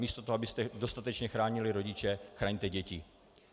Místo toho, abyste dostatečně chránili rodiče, chraňte děti.